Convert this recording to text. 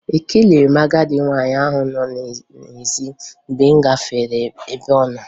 Ekeleghi m agadị nwaanyị ahụ nọ n'ezi mgbe m gafere ebe ọnọ